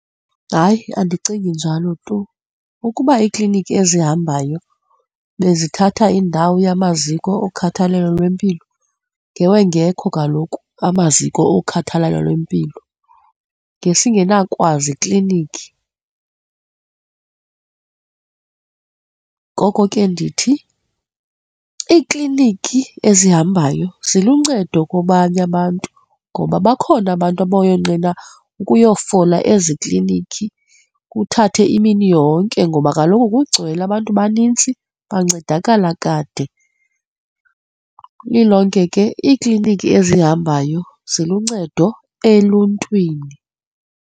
Hayi, andicingi njalo tu ukuba iikliniki ezihambayo bezithatha indawo yamaziko okhathalelo lwempilo, ngewungekho kaloku amaziko okhathalelo lwempilo, ngesingena kwa ziklinikhi. Ngoko ke ndithi iikliniki ezihambayo ziluncedo kwabanye abantu ngoba bakhona abantu bayonqena ukuyofola ezikliniki kuthathe imini yonke ngoba kaloku kugcwele abantu banintsi bancedakala kade, lilonke ke iikliniki ezihambayo ziluncedo eluntwini.